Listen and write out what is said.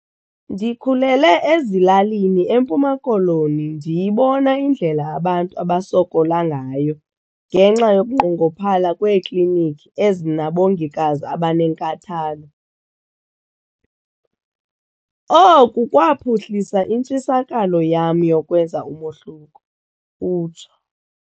"Ndikhulele ezilalini eMpuma Koloni ndiyibona indlela abantu abasokola ngayo ngenxa yokunqongophala kweeklinikhi ezinabongikazi abanenkathalo. Oku kwaphuhlisa intshisakalo yam yokwenza umohluko," utsho.